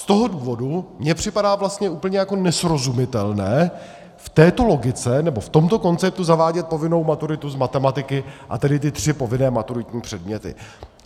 Z toho důvodu mně připadá vlastně úplně jako nesrozumitelné v této logice nebo v tomto konceptu zavádět povinnou maturitu z matematiky, a tedy ty tři povinné maturitní předměty.